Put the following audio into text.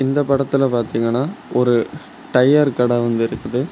இந்தப் படத்துல பார்த்தீங்கனா ஒரு டயர் கடை வந்து இருக்குது.